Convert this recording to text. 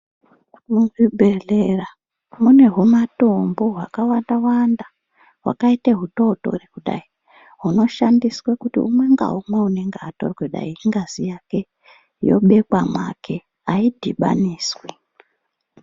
Muzvibhedhlera mune humatombo hwakawanda-wanda ,hwakaite hutotori kudai, hunoshandiswe kuti umwe ngaumwe unonga watorwe dai ingazi yake, yobekwa mwake aidhibaniswi.